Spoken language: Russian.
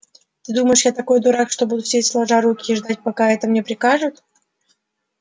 ты думаешь я такой дурак что буду сидеть сложа руки и ждать пока это мне прикажут